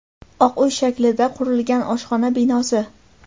oq uy shaklida qurilgan oshxona binosi.